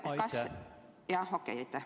Aitäh!